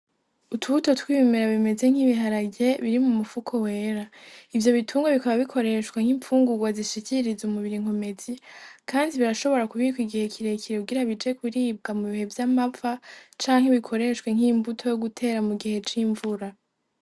Utubuto twibumira bimeze nk'ibiharage biri mu mupfuko wera, ivyo bitungwa bikaba bikoreshwa nk'impfungurwa zishikiriza umubiri inkomezi, kandi birashobora kubikwa igihe kire kirugira bije kuribwa mu bihe vy'amafa canke bikoreshwe nk'imbuto yo gutera mu gihe c'imvura.